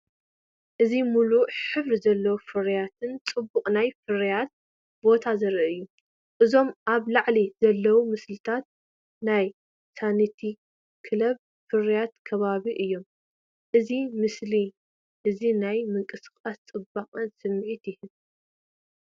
እዚ ምሉእ ሕብሪ ዘለዎ ፍርያትን ጽቡቕ ናይ ፍርያት ቦታን ዘርኢ እዩ። እዞም ኣብ ላዕሊ ዘለዉ ምስልታት ናይ ሳኒታ ክለብ ፍርያት ከባቢታት እዮም። እዚ ምስሊ እዚ ናይ ምንቅስቓስን ጽባቐን ስምዒት ይህብ።